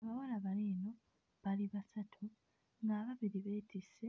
Abawala bano eno bali basatu ng'ababiri beetisse